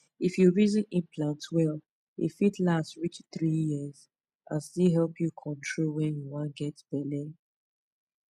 if you reason implant well e fit last reach three years and still help you control when you wan get belle.